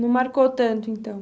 Não marcou tanto, então?